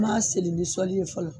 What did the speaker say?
N ma seli ni sɔli ye fɔlɔ